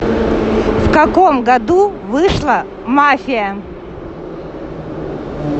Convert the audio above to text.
в каком году вышла мафия